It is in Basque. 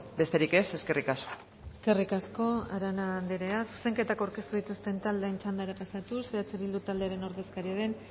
besterik ez eskerrik asko eskerrik asko arana andrea zuzenketak aurkeztu dituzten taldeen txandara pasatuz eh bildu taldearen ordezkaria den